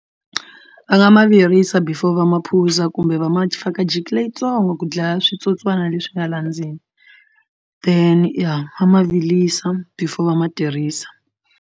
Va nga ma virisa before va ma phuza kumbe va ma faka Jiki leyitsongo ku dlaya switsotswana leswi nga la ndzeni then ya va ma virisa before va ma tirhisa.